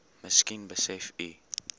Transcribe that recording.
miskien besef u